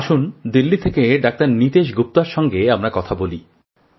আসুন দিল্লি থেকে ডাঃ নীতেশ গুপ্তের সঙ্গে আমরা কথা বলি